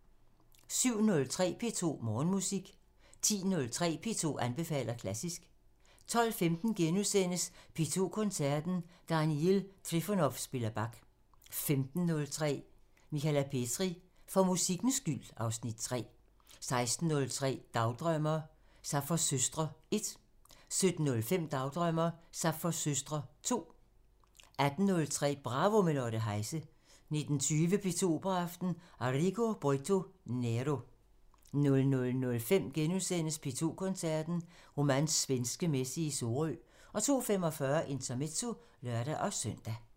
07:03: P2 Morgenmusik 10:03: P2 anbefaler klassisk 12:15: P2 Koncerten – Daniil Trifonov spiller Bach * 15:03: Michala Petri: For musikkens skyld (Afs. 3) 16:03: Dagdrømmer: Sapfos søstre 1 17:05: Dagdrømmer: Sapfos søstre 2 18:03: Bravo – med Lotte Heise 19:20: P2 Operaaften – Arrigo Boito: Nero 00:05: P2 Koncerten – Romans Svenske Messe i Sorø * 02:45: Intermezzo (lør-søn)